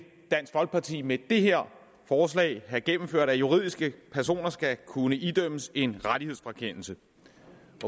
dansk folkeparti med det her forslag have gennemført at juridiske personer skal kunne idømmes en rettighedsfrakendelse